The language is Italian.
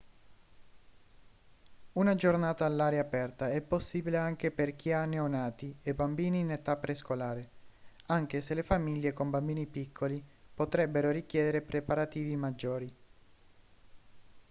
una giornata all'aria aperta è possibile anche per chi ha neonati e bambini in età prescolare anche se le famiglie con bambini piccoli potrebbero richiedere preparativi maggiori